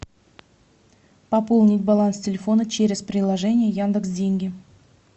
пополнить баланс телефона через приложение яндекс деньги